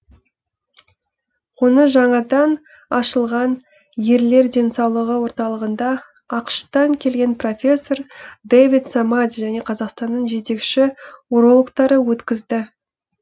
оны жаңадан ашылған ерлер денсаулығы орталығында ақш тан келген профессор дэвид самади және қазақстанның жетекші урологтары өткізді